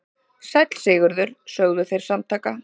Sæll Sigurður, sögðu þeir samtaka.